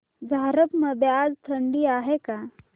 झारप मध्ये आज थंडी आहे का